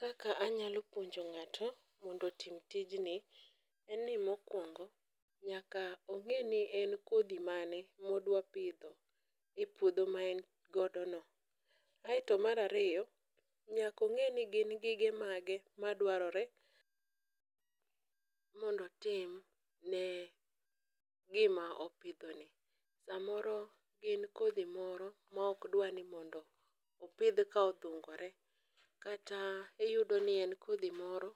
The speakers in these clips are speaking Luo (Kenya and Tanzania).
Kaka anyalo puonjo nga'to mondo otim tijni en ni mokwongo nyaka ong'eni en kodhi mane ma odwa pidho e puodho ma en godono, aeto mar ariyo, nyaka ong'e ni gin gige mage madwarore mondo otimne gima opidhoni, samoro gin kodhi moro ma okdwa ni mondo opidh ka odhungore kata iyudoni en kodhi moro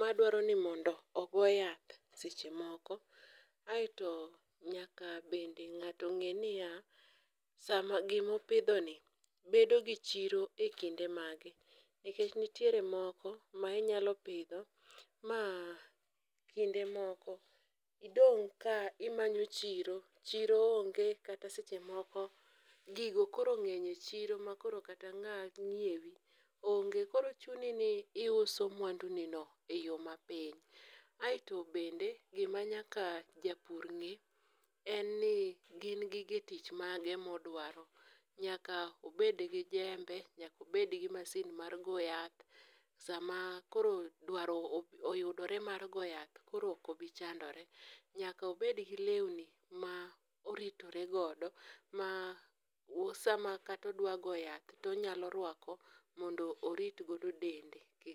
madwaro ni mondo ogo yath seche moko, aeto nyaka bende ng'ato ng'e niya ,gima opidhoni bedo gi chiro e kinde mage nikech nitiere moko ma inyalo pidho ma kinde moko idong' ka imanyo chiro, chiro onge kata seche moko gigo koro ng'eny chiro ma koro kata ng'a nyiewi onge, koro chuni ni iuso mwandunino e yo mapiny, aeto bende gima nyaka japur ng'e en ni gin gige tich mage ma odwaro, nyaka obed gi jembe, nyaka obed gi masin mar go yath, sama koro dwaro oyudore mar go yath koro ok obi chandore, nyaka obed gi lewni ma oritore godo, ma sama kata odwa go yath tonyalo rwako mondo orit godo dende.